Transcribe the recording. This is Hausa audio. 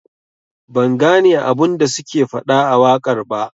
Ban gane abun da suke fada a wakar ba.